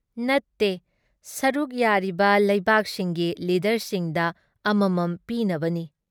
ꯅꯨꯠꯇꯦ꯫ ꯁꯔꯨꯛ ꯌꯥꯔꯤꯕ ꯂꯩꯕꯥꯛꯁꯤꯡꯒꯤ ꯂꯤꯗꯔꯁꯤꯡꯗ ꯑꯃꯃꯝ ꯄꯤꯅꯕꯅꯤ ꯫